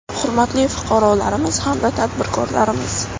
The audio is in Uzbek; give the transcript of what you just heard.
Hurmatli fuqarolarimiz hamda tadbirkorlarimiz!